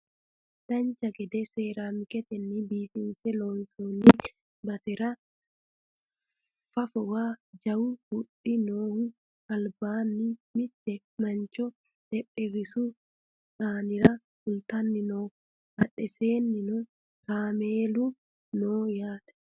dancha gede seeraamiketenni biifinse loonsoonni basera fafowa jawu huxxi noohu albaanni mitte mancho xexxerrishu aanira fultanni no badhensaannino kameelu no yaate